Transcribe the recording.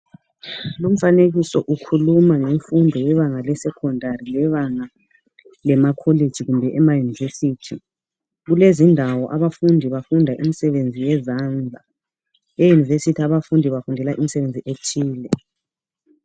Lumfanekiso ukhuluma ngemfundo yebebanga lesecondary lebanga lamakholeji kumbe emaYunivesithi. Kulezindawo abafundi bafunda imsebenzi yezandla, eYunivesithi abafundi bafundela umsebenzi othile.